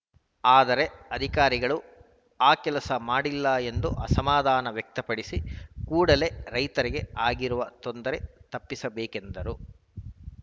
ಆದರೆ ಅಧಿಕಾರಿಗಳು ಆ ಕೆಲಸ ಮಾಡಿಲ್ಲ ಎಂದು ಅಸಮಾಧಾನ ವ್ಯಕ್ತಪಡಿಸಿ ಕೂಡಲೇ ರೈತರಿಗೆ ಆಗಿರುವ ತೊಂದರೆ ತಪ್ಪಿಸಬೇಕೆಂದರು